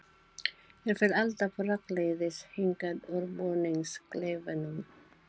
Ég fer alltaf rakleiðis hingað úr búningsklefanum.